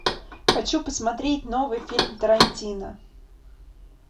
хочу посмотреть новый фильм тарантино